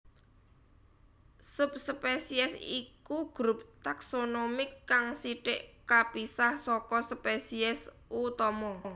Subspesies iku grup taksonomik kang sithik kapisah saka spesies utama